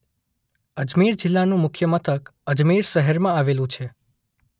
અજમેર જિલ્લાનું મુખ્ય મથક અજમેર શહેરમાં આવેલું છે.